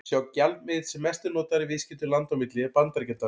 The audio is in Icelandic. Sá gjaldmiðill sem mest er notaður í viðskiptum landa á milli er Bandaríkjadalur.